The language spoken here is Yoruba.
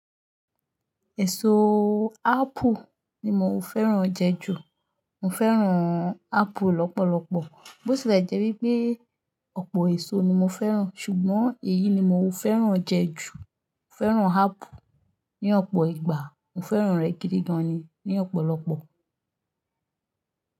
Ẹ̀ṣọ́ ápù ni mò ń fẹ́ràn jẹ ju. Mò ń fẹ́ràn ápù lọ́pọ̀lọpọ̀. Jẹ́ wípé ọ̀pọ̀ èso ni mò ń fẹ́ràn ṣùgbọ́n èyí ni mò ń fẹ́ràn jẹ ju. Mò ń fẹ́ràn áàpù ní ọ̀pọ̀ ìgbà. Mò fẹ́ràn rẹ̀ gidigan ni ní ọ̀pọ̀lọpọ̀.